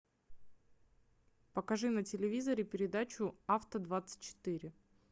покажи на телевизоре передачу авто двадцать четыре